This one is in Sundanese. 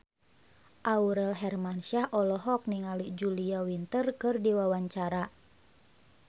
Aurel Hermansyah olohok ningali Julia Winter keur diwawancara